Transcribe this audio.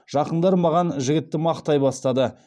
жақындары маған жігітті мақтай бастады